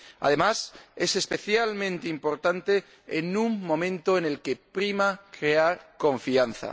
Además, es especialmente importante en un momento en el que prima crear confianza.